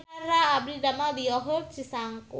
Abdi didamel di Yogurt Cisangkuy